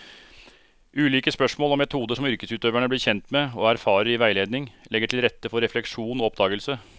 Ulike spørsmål og metoder som yrkesutøverne blir kjent med og erfarer i veiledning, legger til rette for refleksjon og oppdagelse.